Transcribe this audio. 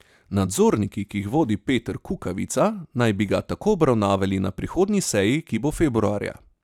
Nadzorniki, ki jih vodi Peter Kukovica, naj bi ga tako obravnavali na prihodnji seji, ki bo februarja.